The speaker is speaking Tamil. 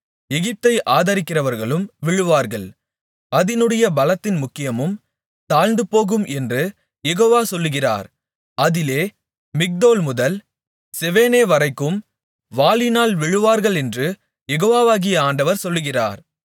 எகிப்தை ஆதரிக்கிறவர்களும் விழுவார்கள் அதினுடைய பலத்தின் முக்கியமும் தாழ்ந்துபோகும் என்று யெகோவா சொல்லுகிறார் அதிலே மிக்தோல் முதல் செவெனேவரைக்கும் வாளினால் விழுவார்களென்று யெகோவாகிய ஆண்டவர் சொல்லுகிறார்